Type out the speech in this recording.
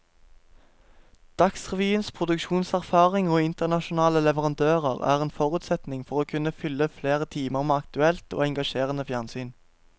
Dagsrevyens produksjonserfaring og internasjonale leverandører er en forutsetning for å kunne fylle flere timer med aktuelt og engasjerende fjernsyn.